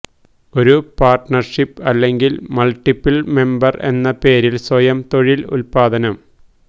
ഒരു പാർട്ണർഷിപ്പ് അല്ലെങ്കിൽ multiple member എന്ന പേരിൽ സ്വയം തൊഴിൽ ഉൽപാദനം